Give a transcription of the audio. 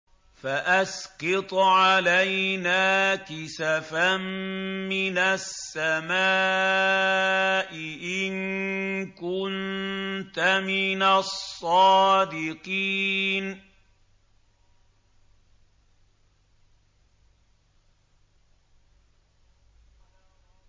فَأَسْقِطْ عَلَيْنَا كِسَفًا مِّنَ السَّمَاءِ إِن كُنتَ مِنَ الصَّادِقِينَ